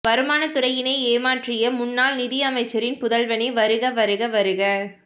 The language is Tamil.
வருமானத்துறையினை ஏமாற்றிய முன்னாள் நிதி அமைச்சரின் புதல்வனே வருக வருக வருக